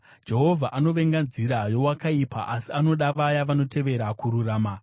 Jehovha anovenga nzira yeakaipa, asi anoda vaya vanotevera kururama.